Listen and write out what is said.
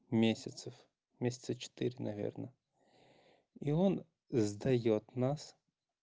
месяцев месяца четыре наверное и он сдаёт нас